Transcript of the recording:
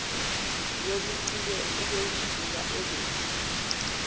yobuciko ubezibuka ekuphi